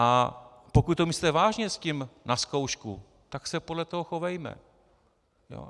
A pokud to myslíte vážně s tím na zkoušku, tak se podle toho chovejme.